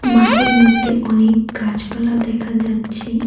মাঠের মধ্যে অনেক গাছপালা দেখা যাচ্ছে।